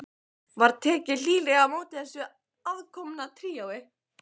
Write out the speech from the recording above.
Var tekið hlýlega á móti þessu aðkomna tríói.